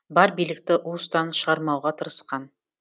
бар билікті уыстан шығармауға тырысқан